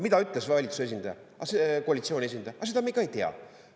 Mida ütles valitsuse esindaja, koalitsiooni esindaja: aga seda me ka ei tea.